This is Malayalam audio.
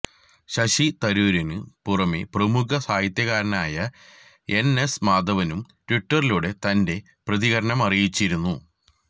ശശി തരൂരിന് പുറമെ പ്രമുഖ സാഹിത്യകാരനായ എൻ എസ് മാധവനും ട്വിറ്ററിലൂടെ തന്റെ പ്രതികരണമറിയിച്ചിരുന്നു